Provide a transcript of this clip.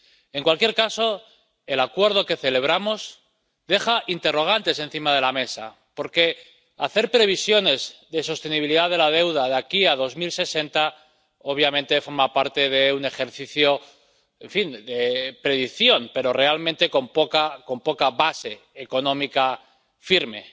En cualquier caso, el Acuerdo que celebramos deja interrogantes encima de la mesa, porque hacer previsiones de sostenibilidad de la deuda de aquí a 2060 obviamente forma parte de un ejercicio, en fin, de predicción, pero realmente con poca base económica firme.